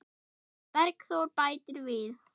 Bergþór bætir við.